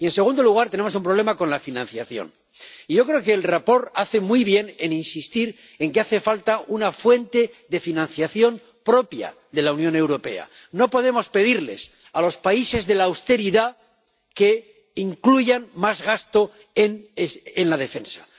Y, en segundo lugar, tenemos un problema con la financiación. Y yo creo que el informe hace muy bien en insistir en que hace falta una fuente de financiación propia de la Unión Europea. No podemos pedirles a los países de la austeridad que incluyan más gasto en la defensa.